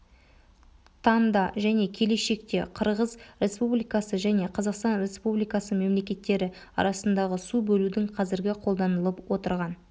таңда және келешекте қырғыз республикасы және қазақстан республикасы мемлекеттері арасындағы су бөлудің қазіргі қолданылып отырған